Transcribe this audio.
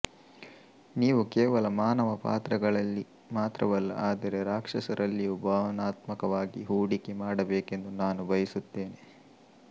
ನೀವು ಕೇವಲ ಮಾನವ ಪಾತ್ರಗಳಲ್ಲಿ ಮಾತ್ರವಲ್ಲ ಆದರೆ ರಾಕ್ಷಸರಲ್ಲಿಯೂ ಭಾವನಾತ್ಮಕವಾಗಿ ಹೂಡಿಕೆ ಮಾಡಬೇಕೆಂದು ನಾನು ಬಯಸುತ್ತೇನೆ